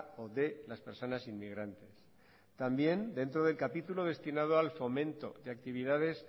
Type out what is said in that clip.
o de las personas inmigrantes también dentro del capítulo destinado al fomento de actividades